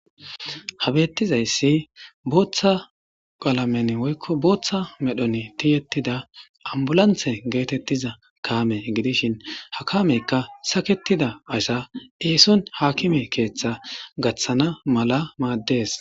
Ha bettizaysdi booththa medhdhon tiyettida ambbulansse giddishin hayssika sakettida asa esson hakimme keththa gaththanas maades.